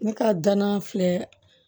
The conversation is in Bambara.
Ne ka danan filɛ